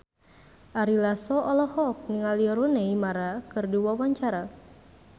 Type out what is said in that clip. Ari Lasso olohok ningali Rooney Mara keur diwawancara